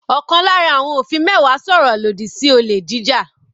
Ọ̀kan lára àwọn òfin mẹ́wàá sọ̀rọ̀ lòdì sí olè jíjà.